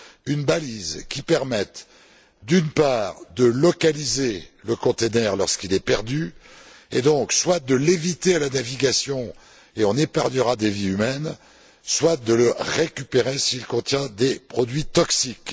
une balise qui permette, d'une part, de localiser le conteneur lorsqu'il est perdu et, donc, soit de l'éviter à la navigation et on épargnera des vies humaines soit de le récupérer s'il contient des produits toxiques.